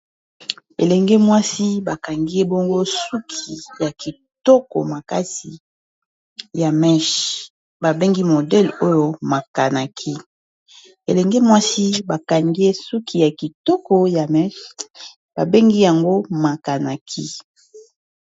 Elenge mwasi bakangi ebongo suki ya kitoko makasi ya mèche babengi modele oyo makanaki elenge mwasi bakangi ye suki ya kitoko ya mèche babengi yango makanaki